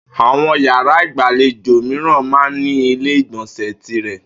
Àwo̩n yàrá ìgbàlejò mìiràn máa ń ní ilé ìgbò̩nsè̩ tirè̩